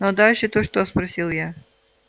ну а дальше то что спросил я